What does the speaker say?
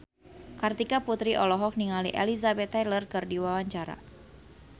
Kartika Putri olohok ningali Elizabeth Taylor keur diwawancara